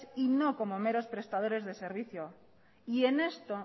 y no como mero prestadores de servicio y en esto